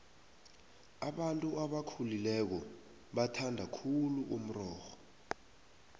abantu abakhulileko bathanda khulu umrorho